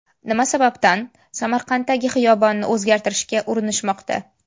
Nima sababdan Samarqanddagi xiyobonni o‘zgartirishga urinishmoqda.